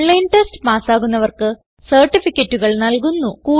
online test പാസ്സാകുന്നവർക്ക് സർട്ടിഫികറ്റുകൾ നല്കുന്നു